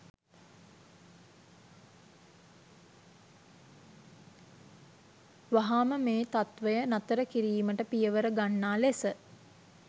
වහාම මේ තත්ත්වය නතර කිරීමට පියවර ගන්නා ලෙස